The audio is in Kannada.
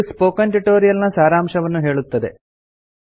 ಇದು ಸ್ಪೋಕನ್ ಟ್ಯುಟೊರಿಯಲ್ ನ ಸಾರಾಂಶವನ್ನು ಹೇಳುತ್ತದೆ